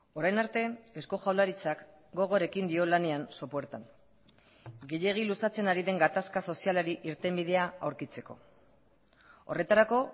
orain arte eusko jaurlaritzak gogorekin dio lanean sopuertan gehiegi luzatzen ari den gatazka sozialari irtenbidea aurkitzeko horretarako